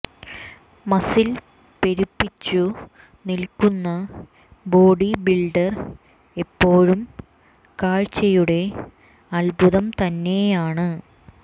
muscle പെരുപ്പിച്ചു നിൽക്കുന്ന body builder എപ്പോഴും കാഴ്ചയുടെ അത്ഭുതം തന്നെയാണ്